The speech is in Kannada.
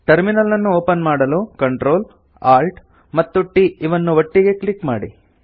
ಟರ್ಮಿನಲ್ಲನ್ನು ಒಪನ್ ಮಾಡಲು Ctrl Alt ಮತ್ತು T ಇವನ್ನು ಒಟ್ಟಿಗೆ ಕ್ಲಿಕ್ ಮಾಡಿ